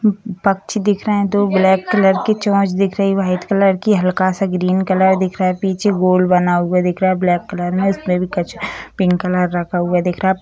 मम पकछी दिख रहे हैं दो ब्लैक कलर की चोंच दिख रही वाइट कलर की हल्का-सा ग्रीन कलर दिख रहा पीछे गोल बना हुआ दिख रहा है ब्लैक कलर में इसमें में भी कछ पिंक कलर रखा हुआ दिख रहा।